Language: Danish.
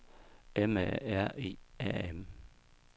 M A R I A M